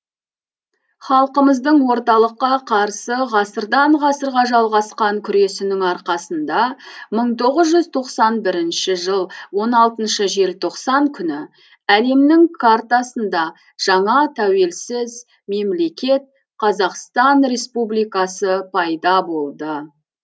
халқымыздың орталыққа қарсы ғасырдан ғасырға жалғасқан күресінің арқасында мың тоғыз жүз тоқсан бірінші жыл он алтыншы желтоқсан күні әлемнің картасында жаңа тәуелсіз мемлекет қазақстан республикасы пайда болды